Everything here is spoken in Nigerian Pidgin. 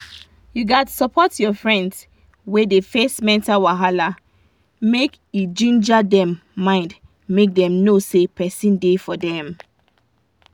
you gats support your friends wey dey face mental wahala make e ginger dem mind make dem know say person da for dem